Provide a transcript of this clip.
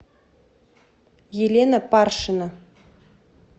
елена паршина